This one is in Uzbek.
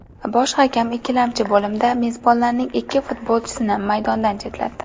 Bosh hakam ikkinchi bo‘limda mezbonlarning ikki futbolchisini maydondan chetlatdi.